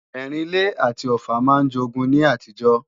Ẹrìn-ilé àti Ọ̀ffà máa ń jogun ní àtijọ́